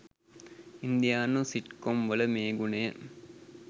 ඉන්දියානු සිට්කොම් වල මේ ගුණය